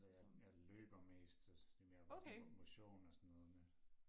Altså jeg jeg løber mest så det mere bare sådan motion og sådan noget men